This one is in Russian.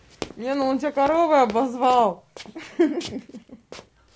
лена он тебя коровой обозвал ха ха